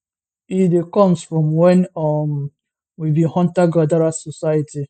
e dey comes from wen um we be huntergatherer society